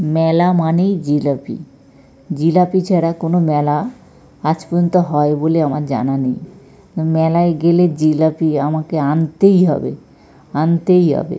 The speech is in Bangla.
মেলা মানেই জিলাপি জিলাপি ছাড়া কোন মেলা আজ পর্যন্ত হয় বলে আমার জানা নেই। মেলায় গেলে জিলাপি আমাকে আন-তেই হবে আন-তেই হবে।